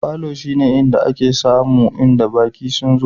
Falo shine inda ake sama in baki sun zo.